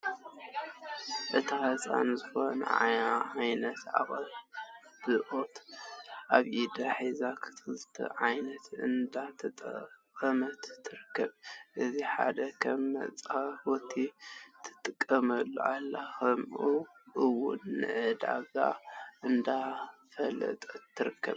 እታ ህፃን ዝኾነ ዓይነት ቅብኣት ኣብ ኢዳ ሒዛ ንክልተ ነገራት እንዳተጠቀመትሉ ትርከብ ፡፡ እቲ ሓደ ከም መፃወቲ ትጥቀመሉ ኣላ ከምኡ እውን ንዕዳጋ እንዳፋለጠት ትርከብ፡፡